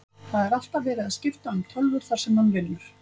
Það er alltaf verið að skipta um tölvur þar sem hann vinnur.